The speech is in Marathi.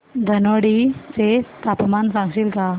धनोडी चे तापमान सांगशील का